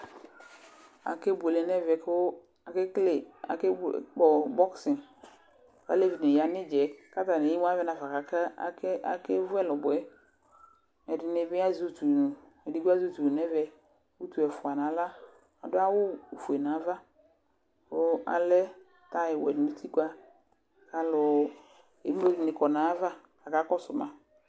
Aƙeɓʊele ŋɛʋɛ ƙʊ aƙa ƙpɔ ɓɔx, ƙalzʋɩ ɗɩŋɩ ƴa ŋɩɩɖza ƴɛ ƙataŋɩ emʊ aʋɛ ŋafa ka ƙeʋʊ ɛlʊɓɔ ƴɛ Ɛdɩŋɩ ɓɩ azɛ ʊtʊŋʊ Edɩgbo azɛ ʊtʊ ɛfʊa ŋawla, adʊ awʊ fʊe ŋaʋavƙa lɛ taƴɩwɛl ŋʊtɩƙpa kemlo diŋɩ kɔ ŋaƴaʋa ƙaƙa ƙɔsʊ ma